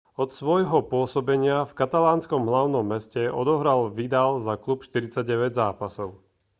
od svojho pôsobenia v katalánskom hlavnom meste odohral vidal za klub 49 zápasov